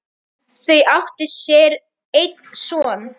Þau áttu sér einn son.